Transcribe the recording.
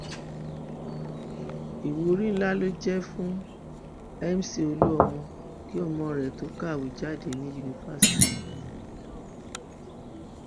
ìwúrí ńlá ló jẹ fún mc olúmọ kí ọmọ rẹ tó kàwé jáde ní yunifásitì